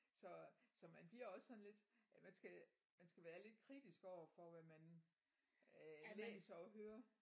Så så man bliver også sådan lidt man skal man skal være lidt kritisk overfor hvad man øh læser og hører